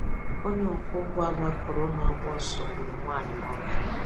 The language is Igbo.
Onye ọkwọ ụgbọ ala kụrụ na-agba ọsọ gburu nwanyị n'Awka